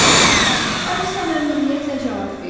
Alisa məmnuniyyətlə cavab verdi.